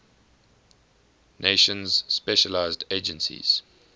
nations specialized agencies